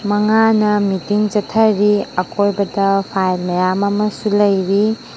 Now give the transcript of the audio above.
ꯃꯉꯥꯅ ꯃꯤꯇꯤꯡ ꯆꯠꯊꯥꯔꯤ ꯑꯀꯣꯏꯕꯗ ꯐꯥꯏꯜ ꯃꯌꯥꯝ ꯑꯃꯁꯨ ꯂꯩꯔꯤ꯫